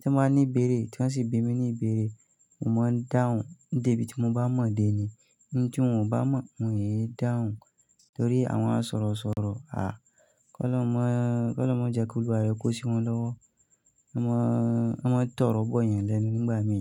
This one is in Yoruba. tí wọ́n bá ní ìbéèrè tí wọ́n sì bi mi ní ìbéèrè, mo máa ń dáhùn. Dèbí tí mo bá mọ̀ dé ni, ntì wọn ò bá mọ̀, wòn é dáhùn torí àwọn asọ̀rọ̀ sọ̀rọ̀ a, kí ólọrun máa, kí ólọrun máa jẹ́ kí olúwa rẹ̀ kó sí wọn lọ́wọ́. Wọ́ won máa ń, wọ́n máa ń tọrọ bọ̀ eyàn lẹ́nu nígbà mí.